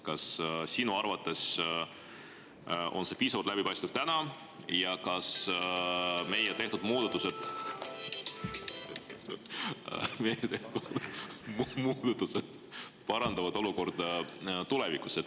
Kas sinu arvates on see täna piisavalt läbipaistev ja kas meie tehtud muudatused parandavad olukorda tulevikus?